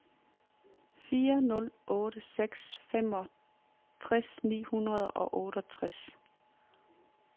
fire nul otte seks femogtres ni hundrede og otteogtres